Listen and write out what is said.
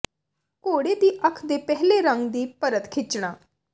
ਘੋੜੇ ਦੀ ਅੱਖ ਦੇ ਪਹਿਲੇ ਰੰਗ ਦੀ ਪਰਤ ਖਿੱਚਣਾ